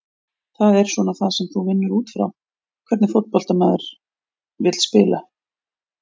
Það er svona það sem þú vinnur útfrá, hvernig fótbolta maður vill spila?